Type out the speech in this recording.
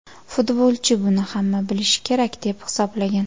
Futbolchi buni hamma bilishi kerak deb hisoblagan.